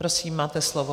Prosím, máte slovo.